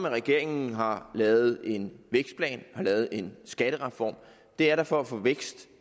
regeringen har lavet en vækstplan og har lavet en skattereform det er da for at få vækst